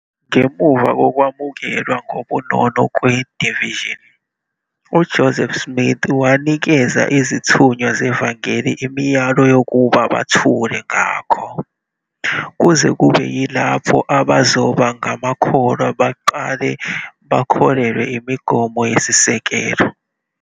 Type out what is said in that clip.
Ngemuva kokwamukelwa ngobunono kwe-"the Vision", uJoseph Smith wanikeza izithunywa zevangeli imiyalo yokuba "bathule" ngakho, kuze kube yilapho abazoba ngamakholwa beqale bakholelwa imigomo eyisisekelo.